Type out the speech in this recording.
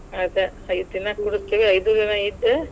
ಅದ ಐದ್ ದಿನಾ ಕುಡಸ್ತೇವ್ ಐದು ದಿನಾ ಇದ್ದ,